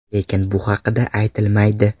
Lekin bu haqda aytilmaydi.